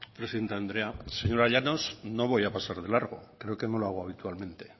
presidente andrea señora llanos no voy a pasar de largo creo que no lo hago habitualmente